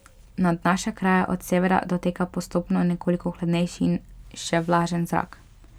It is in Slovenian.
Nad naše kraje od severa doteka postopno nekoliko hladnejši in še vlažen zrak.